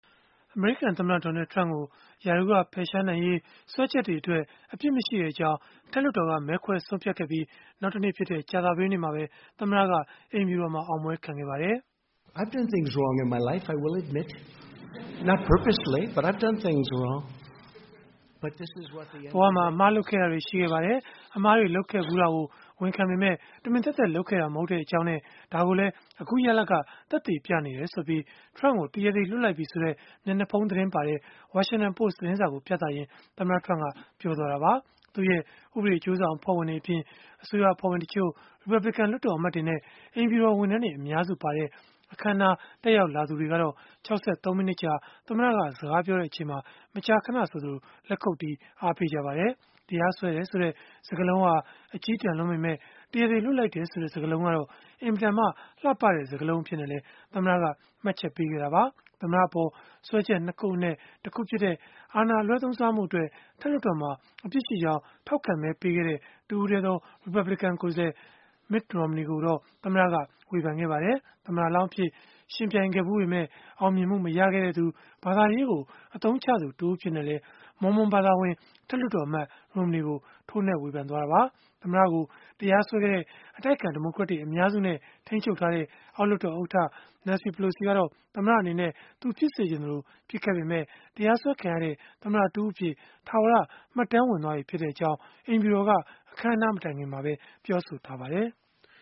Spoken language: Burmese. အမေရိကန်သမ္မတ Donald Trump ကို ရာထူးကဖယ်ရှားနိုင်ရေး စွဲချက်တွေအတွက် အပြစ်မရှိကြောင်း အထက်လွှတ်တော်က မဲခွဲဆုံးဖြတ်ခဲ့ပြီး နောက်တနေ့ဖြစ်တဲ့ ကြာသပတေးနေ့မှာပဲ သမ္မတက အိမ်ဖြူတော်မှာ အောင်ပွဲခံခဲ့ပါတယ်။ “ဘဝမှာ အမှားလုပ်ခဲ့တာတွေ ရှိခဲ့ပါတယ်။ အမှားတွေ လုပ်ခဲ့ဖူးတာကို ဝန်ခံပေမယ့် တမင်သက်သက် လုပ်ခဲ့တာ မဟုတ်ကြောင်းနဲ့ ဒါကိုလည်း အခုရလဒ်က သက်သေပြနေတယ်” ဆိုပြီး Trump ကို တရားသေလွှတ်လိုက်ပြီဆိုတဲ့ မျက်နှာဖုံးသတင်းပါတဲ့ Washington Post သတင်းစာကို ပြသရင်း သမ္မတ Trump ကပြောလိုက်တာပါ။ သူ့ရဲ့ ဥပဒေအကျိုးဆောင် အဖွဲ့ဝင်တွေအပြင် အစိုးရအဖွဲ့ဝင်တချို့၊ ရီပတ်ဘလစ်ကန် လွှတ်တော်အမတ်တွေနဲ့ အိမ်ဖြူတော် ဝန်ထမ်းတွေ အများစုပါတဲ့ အခမ်းအနား တက်ရောက်လာသူတွေကတော့ ၆၃ မိနစ်ကြာ သမ္မတက စကားပြောနေချိန်မှာ မကြာခဏဆိုသလို လက်ခုပ်တီး အားပေးခဲ့ကြပါတယ်။ တရားစွဲတယ်ဆိုတဲ့ စကားလုံးဟာ အကျည်းတန်လွန်းပေမဲ့ တရားသေလွှတ်လိုက်တယ်ဆိုတဲ့ စကားလုံးကတော့ အင်မတန်မှ လှပတဲ့စကားလုံး အဖြစ်နဲ့လည်း သမ္မတက မှတ်ချက်ပေးခဲ့တာပါ။ သမ္မတအပေါ် စွဲချက် ၂ ခုအနက် တခုဖြစ်တဲ့ အာဏာအလွဲသုံးစားမှုအတွက် အထက်လွှတ်တော်မှာ အပြစ်ရှိကြောင်း ထောက်ခံမဲပေးခဲ့တဲ့ တစ်ဦးတည်းသော ရီပတ်ဘလစ်ကန် ကိုယ်စားလှယ် Mitt Romney ကိုတော့ သမ္မတက ဝေဖန်ခဲ့ပါတယ်။ သမ္မတလောင်းအဖြစ် ယှဉ်ပြိုင်ခဲ့ဖူးပေမဲ့ အောင်မြင်မှုမရခဲ့သူ၊ ဘာသာရေးကို အသုံးချသူတဦးအဖြစ်နဲ့လည်း Mormon ဘာသာဝင် အထက်လွှတ်တော်အမတ် Romney ကို ထိုးနှက်ဝေဖန်ခဲ့တာပါ။ သမ္မတကို တရားစွဲခဲ့တဲ့ အတိုက်အခံဒီမိုကရက်တွေ အများစုနဲ့ ထိန်းချုပ်ထားတဲ့ အောက်လွှတ်တော် ဥက္ကဋ္ဌ Nancy Pelosi ကတော့ သမ္မတအနေနဲ့ သူဖြစ်စေချင်သလို ဖြစ်ခဲ့ပေမဲ့ တရားစွဲခံရတဲ့ သမ္မတတဦးအဖြစ် ထာဝရ မှတ်တမ်းဝင် သွားပြီဖြစ်ကြောင်း အိမ်ဖြူတော်က အခမ်းအနား မတိုင်ခင်မှာပဲ ပြောဆိုထားပါတယ်။